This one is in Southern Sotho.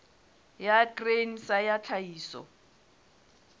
ya grain sa ya tlhahiso